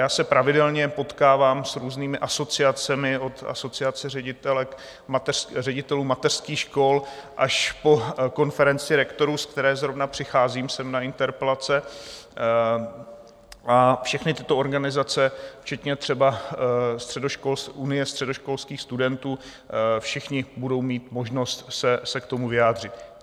Já se pravidelně potkávám s různými asociacemi od Asociace ředitelů mateřských škol až po Konferenci rektorů, z které zrovna přicházím sem na interpelace, a všechny tyto organizace včetně třeba Unie středoškolských studentů, všichni budou mít možnost se k tomu vyjádřit.